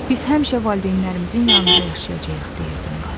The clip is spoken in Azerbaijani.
Biz həmişə valideynlərimizin yanında yaşayacağıq, deyirdi Murad.